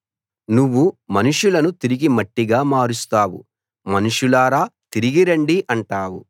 నువ్వు మనుషులను తిరిగి మట్టిగా మారుస్తావు మనుషులారా తిరిగి రండి అంటావు